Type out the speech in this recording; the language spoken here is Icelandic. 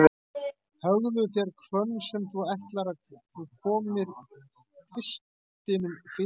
Höggðu þér hvönn, sem þú ætlar að þú komir kvistinum fyrir í.